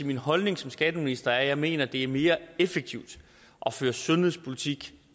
min holdning som skatteminister er at jeg mener det er mere effektivt at føre sundhedspolitik